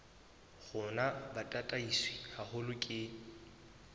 rona bo tataiswe haholo ke